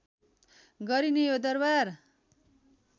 गरिने यो दरबार